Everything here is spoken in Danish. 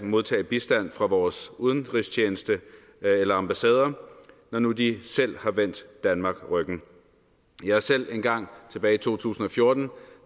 modtage bistand fra vores udenrigstjeneste eller ambassader når nu de selv har vendt danmark ryggen jeg har selv engang tilbage i to tusind og fjorten